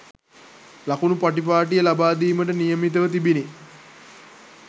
ලකුණු පටිපාටිය ලබාදීමට නියමිතව තිබිණි